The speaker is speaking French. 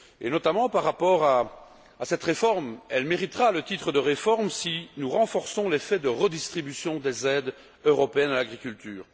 Notamment, concernant cette réforme, elle méritera le titre de réforme si nous renforçons l'effet de redistribution des aides européennes à l'agriculture.